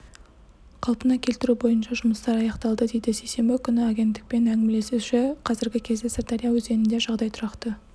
қалпына келтіру бойынша жұмыстар аяқталды дейді сейсенбі күні агенттікпен әңгімелесуші қазіргі кезде сырдария өзенінде жағдай тұрақты